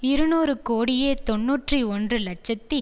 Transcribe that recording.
இருநூறு கோடியே தொன்னூற்றி ஒன்று இலட்சத்தி